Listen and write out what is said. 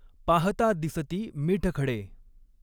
पाहता दिसती मीठखडे।